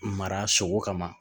Mara sogo kama